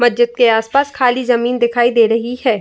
मस्जिद के आस-पास खाली जमीन दिखाई दे रही है।